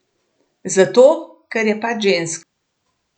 Zato, ker je pač ženska?